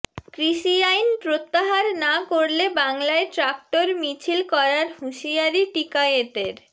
কৃষি আইন প্রত্যাহার না করলে বাংলায় ট্রাক্টর মিছিল করার হুঁশিয়ারি টিকায়েতের